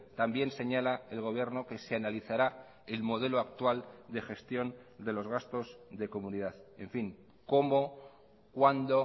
también señala el gobierno que se analizará el modelo actual de gestión de los gastos de comunidad en fin cómo cuándo